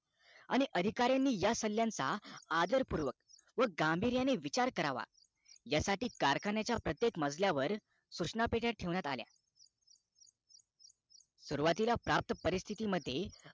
आणि अधिकाऱ्यांनी ह्या सल्ल्याचा आदरपूर्वक व गांभीर्याने विचार करावा यासाठी कारखान्याच्या प्रत्येक मजल्यावर सुचण्या पेट्या ठेवण्यात आल्या सुरवातीला प्राप्त परिस्तितीमुळे